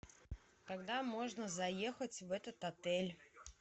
когда можно заехать в этот отель